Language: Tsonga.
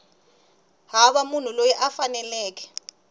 hava munhu loyi a faneleke